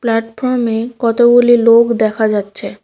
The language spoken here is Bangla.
প্ল্যাটফর্মে কতগুলি লোক দেখা যাচ্ছে।